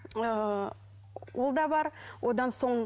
ыыы ол да бар одан соң